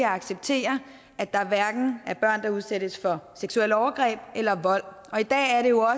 acceptere at der er børn der udsættes for seksuelle overgreb eller vold i dag er det jo